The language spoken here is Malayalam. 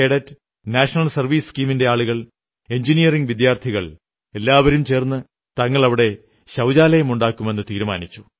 കേഡറ്റ് നാഷണൽ സർവീസ് സ്കീമിന്റെ സന്നദ്ധ പ്രവർത്തകർ എഞ്ചിനീയറിംഗ് വിദ്യാർത്ഥികൾ എല്ലാവരും ചേർന്ന് തങ്ങൾ അവിടെ ശൌചാലയമുണ്ടാക്കുമെന്നു തീരുമാനിച്ചു